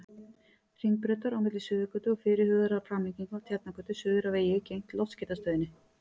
Hringbrautar, á milli Suðurgötu og fyrirhugaðrar framlengingu af Tjarnargötu, suður að vegi gegnt Loftskeytastöðinni.